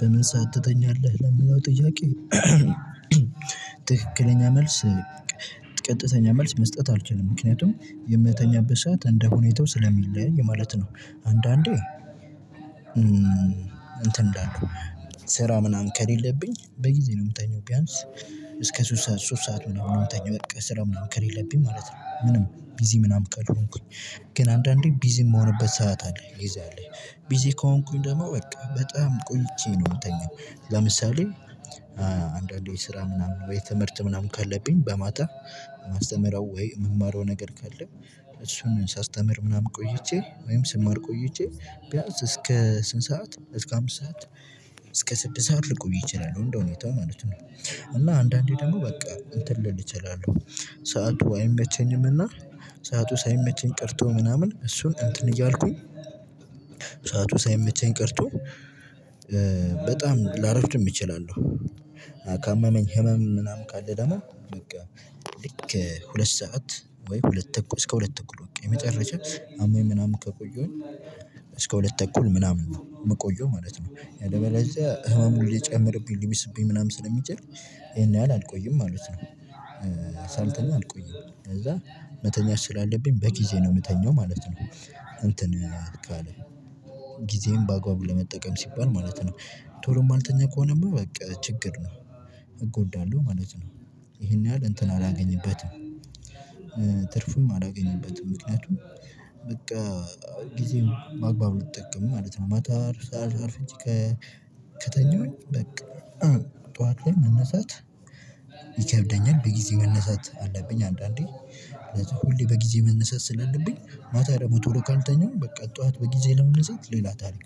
በምን ሰዓት ትተኛለህ ለሚለው ጥያቄ? ትክክለኛ መልስ ቀጥተኛ መልስ መስጠት አልችልም ምክንያቱም የምተኛበት ሰዓት እንደ ሁኔታው ስለሚለያይ ማለት ነው። አንዳንዴ እንትን እላለሁ ስራ ምናምን ከሌለብኝ በጊዜ ነው የምተኛው። ቢያንስ እስከ ሶስት ሰዓት ሶስት ሰዓት ምናምን ነው የምተኛው። በቃ ስራ ምናምን ከሌለብኝ ማለት ነው ምንም ቢዚ ምናምን ካልሆንኩኝ። ግን አንዳንዴ ቢዚ የምሆንበት ሰዓት አለ። ጊዜ ቢዚ ከሆንኩኝ ደግሞ በቃ በጣም ቆይቼ ነው የምተኛው። ለምሳሌ አንዳንዴ ስራ ምናምን ወይ ትምህርት ምናምን ካለብኝ በማታ የማስተምረው ወይም የምማረው ነገር ካለ እሱን ሳስተምር ምናምን ቆይቼ ወይም ስማር ቆይቼ ቢያንስ እስከ ስንት ሰዓት እስከ አምስት ሰዓት እስከ ስድስት ሰዓት ልቆይ ይችላል እንደው ሁኔታው ማለት ነው። እና አንዳንዴ ደግሞ በቃ እንትን ልል እችላለሁ። ሰዓቱ አይመቸኝምና ሰዓቱ ሳይመቸኝ ቅርቶ ምናምን እሱን እንትን እያልኩኝ ሰዓቱ ሳይመቸኝ ቀርቶ በጣም ላረፍድም እችላለሁ። ካመመኝ ህመም ምናምን ካለ ደግሞ በቃ ልክ ሁለት ሰዓት ወይም ሁለት ተኩል እስከ ሁለት እኩል በቃ የመጨረሻ አሞኝ ምናምን ከቆየሁኝ እስከ ሁለት እኩል መቆየው ማለት ነው ያለበለዚያ ህመሙ ሊጨምርብኝ ሊብስብኝ ምናምን ስለሚችል ይሄን ያህል አልቆይም ማለት ነው። ሳልተኛ አልቆይም ከዛ መተኛት ስላለብኝ በጊዜ ነው የምተኛው ማለት ነው። እንትን ጊዜን በአግባቡ ለመጠቀም ሲባል ማለት ነው። ቶሎ የማልተኛ ከሆነማ በቃ ችግር ነው። እጎዳለሁ ማለት ነው። ይሄን ያህል እንትን አላገኝበትም። ትርፍም አላገኘበትም ምክንያቱም በቃ ጊዜን አልጠቀምም ማለት ነው። ማታ አርፍጄ ከተኛሁኝ በቃ ጠዋት ላይ መነሳት ይከብደኛል። በጊዜ መነሳት አለብኝ አንዳንዴ ሁሌ በጊዜ መነሳት ስላለብኝ ማታ ደግሞ ቶሎ ካልተኛሁ በቃ ጠዋት በጊዜ ለመነሳት ሌላ ታሪክ